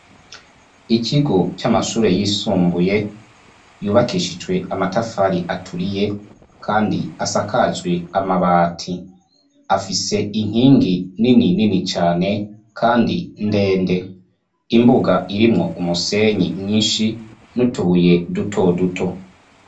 Ikigo c'amashure yisumbuye yubakishijwe amatafari aturiye kandi asakajwe amabati. Afise inkingi nini nini cane kandi ndende; imbuga irimwo umusenyi mwinshi n'utubuye duto duto.